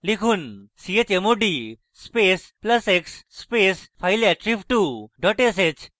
লিখুন chmod space plus x space fileattrib2 dot sh